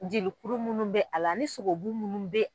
Jelikuru minnu bɛ a la ni sogobu minnu bɛ